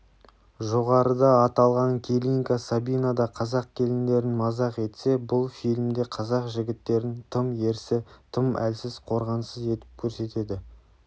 жоғарыда аталған келинка сабинада қазақ келіндерін мазақ етсе бұл фильмде қазақ жігіттерін тым ерсі тым әлсіз қорғансыз етіп көрсетеді